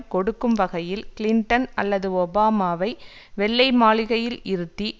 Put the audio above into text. கொடுக்கும் வகையில் கிளின்டன் அல்லது ஒபாமாவை வெள்ளை மாளிகையில் இருத்தி